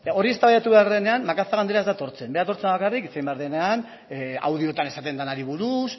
hori eztabaidatu behar denenean macazaga andrea ez da etortzen berak etortzen da bakarrik hitz egin behar denean audioetan esaten denari buruz